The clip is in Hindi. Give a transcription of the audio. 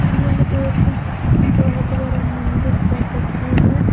यह एक बहुत बड़ा मंदिर का तस्वीर है।